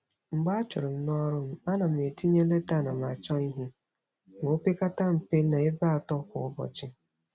Mgbe a churu m n'ọrụ m, a na m etinye leta anamachọihe ma o pekata mpe n'ebe atọ kwa ụbọchị.